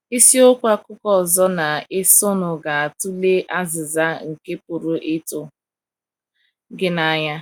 Isiokwu akuko ozo na - esonụ ga - atụle azịza nke pụrụ ịtụ gị n’anya.